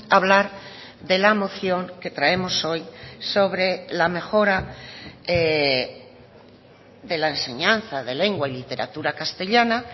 hablar de la moción que traemos hoy sobre la mejora de la enseñanza de lengua y literatura castellana